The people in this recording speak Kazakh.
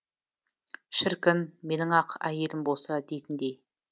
шіркін менің ақ әйелім болса дейтіндей